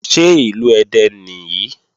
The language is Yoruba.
Ṣé Ìlú Ẹdẹ nìyí?